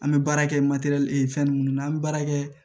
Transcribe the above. An bɛ baara kɛ fɛn minnu na an bɛ baara kɛ